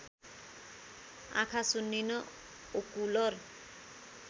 आँखा सुन्निनु ओकुलर